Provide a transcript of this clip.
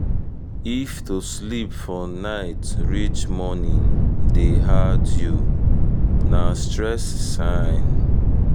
if to sleep for night reach morning dey hard you na stress sign.